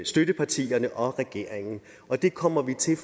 støttepartierne og regeringen og det kommer vi